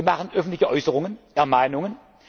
Gespräche. Wir machen öffentliche Äußerungen,